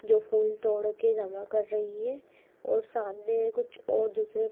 जो फूल तोड़ के जमा कर रही है और सामने कुछ और दूसरे--